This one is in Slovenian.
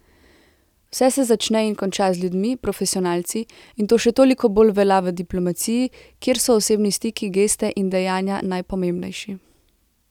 Vse se začne in konča z ljudmi, profesionalci, in to še toliko bolj velja v diplomaciji, kjer so osebni stiki, geste in dejanja najpomembnejši.